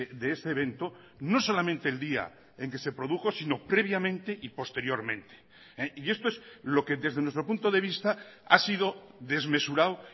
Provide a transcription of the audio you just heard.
de ese evento no solamente el día en que se produjo sino previamente y posteriormente y esto es lo que desde nuestro punto de vista ha sido desmesurado